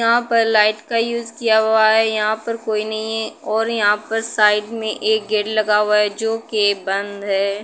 यहां पर लाइट का यूज किया हुआ है। यहाँ पर कोई नहीं है और यहाँ पर साइड में एक गेट लगा हुआ है जोकि बंद है।